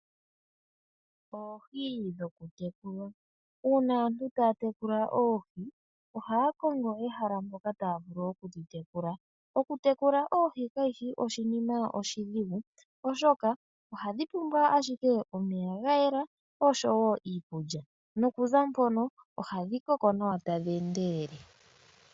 Oohi dhokutekulwa. Uuna aantu taya tekula oohi ohaya kongo ehala moka taya vulu okudhi tekula. Okutekula oohi kashi shi oshinima oshidhigu oshoka ohadhi pumbwa ashike omeya ga yela osho wo iikulya, noku za mpono ohadhi koko nawa tadhi endelele.